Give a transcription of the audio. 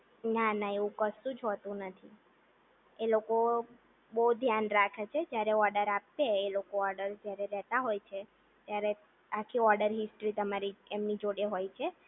ના ના એવું કશું જ હોતું નથી. એ લોકો બોવ ધ્યાન રાખે છે જ્યારે ઓર્ડર આપસે એ લોકો ઓર્ડર જ્યારે લેતા હોય છે ત્યારે આખી ઓર્ડર હિસ્ટ્રી તમારી એમની જોડે હોય છે